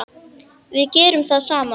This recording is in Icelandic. Við gerum það saman.